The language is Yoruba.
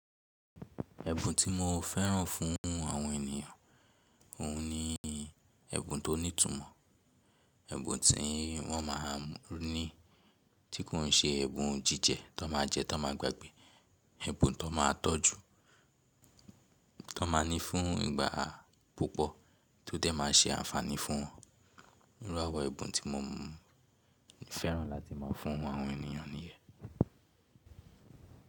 Ẹ̀bùn tí mo fẹ́ràn fún àwọn ènìyàn, òun ni ẹ̀bùn tó ní ìtumọ̀. Ẹ̀bùn tí wọ́n má a ní tí kò n ṣe ẹ̀bùn jíjẹ tó n máa jẹ tó n máa gbàgbẹ. Ẹ̀bùn tó n máa tọ́jú, tó n máa ní fún ìgbà púpọ̀ tó dẹ̀ máa ṣe àǹfààní fún wọn. Irú àwọn ẹ̀bùn tí mo fẹ́ràn láti máa fún àwọn ènìyàn nìyẹ́n.